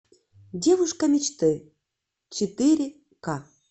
девушка мечты четыре ка